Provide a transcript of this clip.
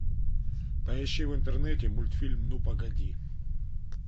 поищи в интернете мультфильм ну погоди